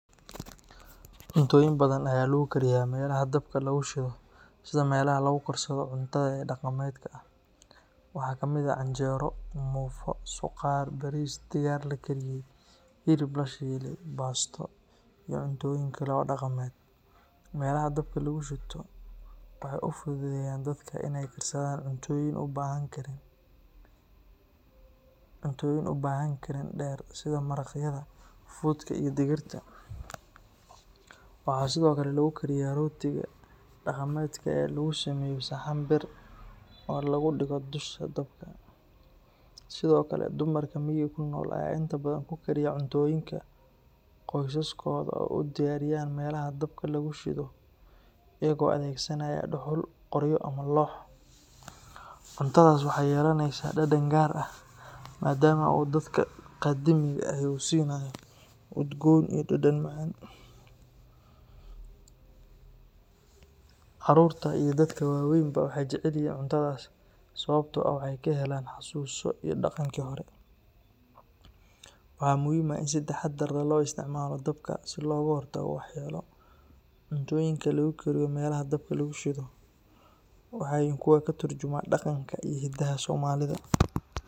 Cuntooyin badan ayaa lagu kariyaa meelaha dabka lagu shido sida meelaha lagu karsado cuntada ee dhaqameedka ah. Waxaa ka mid ah canjeero, muufo, suqaar, bariis, digaag la kariyey, hilib la shiilay, baasto, iyo cuntooyin kale oo dhaqameed. Meelaha dabka lagu shito waxay u fududeeyaan dadka inay karsadaan cuntooyin u baahan karin dheer sida maraqyada, fuudka, iyo digirta. Waxaa sidoo kale lagu kariyaa rootiga dhaqameedka ee lagu sameeyo saxan bir ah oo lagu dhigo dusha dabka. Sidoo kale, dumarka miyiga ku nool ayaa inta badan ku kariya cuntooyinka ay qoysaskooda u diyaariyaan meelaha dabka lagu shido iyagoo adeegsanaya dhuxul, qoryo, ama loox. Cuntadaas waxay yeelanaysaa dhadhan gaar ah maadaama uu dabka qadiimiga ahi uu siinayo udgoon iyo dhadhan macaan. Carruurta iyo dadka waaweynba waxay jecel yihiin cuntadaas sababtoo ah waxay ka helaan xasuuso iyo dhaqankii hore. Waxaa muhiim ah in si taxaddar leh loo isticmaalo dabka si looga hortago waxyeello. Cuntooyinka lagu kariyo meelaha dabka lagu shido waxay yihiin kuwo ka turjumaya dhaqanka iyo hiddaha Soomaalida.